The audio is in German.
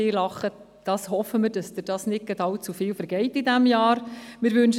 Diesbezüglich hoffen wir, dass es Ihnen nicht allzu oft vergeht während dieses Jahres.